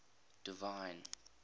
divine